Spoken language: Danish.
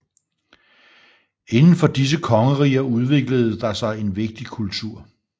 Indenfor disse kongeriger udviklede der sig en vigtig kultur